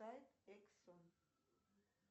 сайт эксон